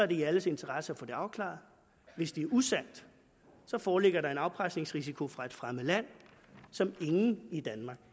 det i alles interesse at få det afklaret hvis det er usandt foreligger der en afpresningsrisiko fra et fremmed land som ingen i danmark